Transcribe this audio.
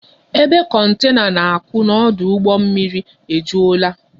Ebe kontena na-akwụ n'ọdụ ụgbọ mmiri ejulaa